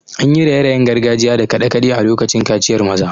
An yi raye-rayen gargajiya da kade-kade a lokacin kaciyar maza.